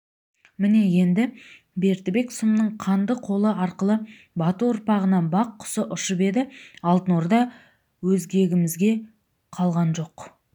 міне енді бердібек сұмның қанды қолы арқылы бату ұрпағынан бақ құсы ұшып еді алтын орда өзгемізге қалған жоқ